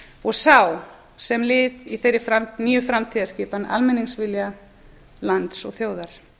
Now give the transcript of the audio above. og sá sem lið í þeirri nýju framtíðarskipan almenningsvilja lands og þjóðar